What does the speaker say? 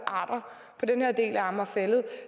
arter på den her del af amager fælled